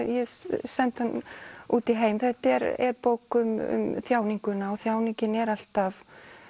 ég sendi hann út í heim þetta er bók um þjáninguna og þjáningin er alltaf